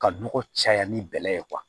Ka nɔgɔ caya ni bɛlɛ ye